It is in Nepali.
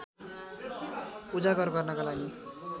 उजागर गर्नका लागि